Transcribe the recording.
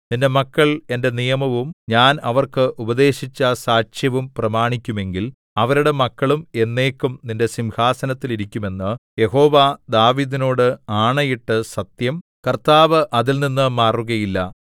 നിന്റെ മക്കൾ എന്റെ നിയമവും ഞാൻ അവർക്ക് ഉപദേശിച്ച സാക്ഷ്യവും പ്രമാണിക്കുമെങ്കിൽ അവരുടെ മക്കളും എന്നേക്കും നിന്റെ സിംഹാസനത്തിൽ ഇരിക്കും എന്ന് യഹോവ ദാവീദിനോട് ആണയിട്ട് സത്യം കർത്താവ് അതിൽനിന്ന് മാറുകയില്ല